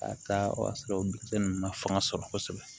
K'a taa o y'a sɔrɔ o denmisɛn ninnu ma fanga sɔrɔ kosɛbɛ